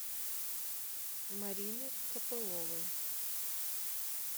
марины копыловой